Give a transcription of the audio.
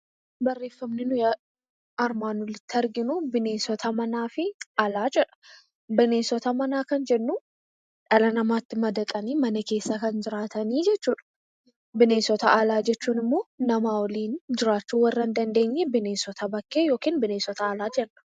Barreeffamni nuyi armaan olitti arginu 'bineensota manaa fi alaa" jedha. Bineensota manaa kan jennu dhala namaatti madaqanii mana keessa kan jiraatanii jechuu dha. Bineensota alaa jechuun immoo nama waliin jiraachuu warra hin dandeenye bineensota bakkee (bineensota alaa) jenna.